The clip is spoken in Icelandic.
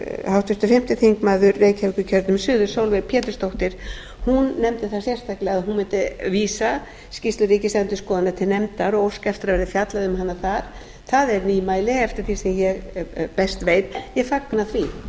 háttvirtur fimmti þingmaður reykjavíkurkjördæmis suðurs sólveig pétursdóttir nefndi það sérstaklega að hún mundi vísa skýrslu ríkisendurskoðunar til nefndar og óska eftir að yrði fjallað um hana þar það er nýmæli eftir því sem ég best veit ég fagna